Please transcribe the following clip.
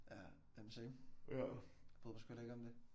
Ja. Jamen same. Bryder mig sgu heller ikke om det